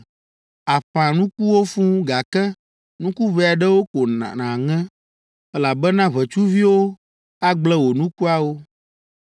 “Àƒã nukuwo fũu, gake nuku ʋɛ aɖewo ko nàŋe, elabena ʋetsuviwo agblẽ wò nukuawo.